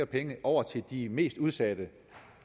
penge over til de mest udsatte